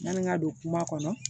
Yanni n ka don kuma kɔnɔ